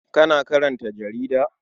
Kana karanta jarida?